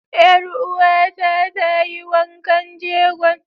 Ƴar uwa ta ta yi wankan jegon.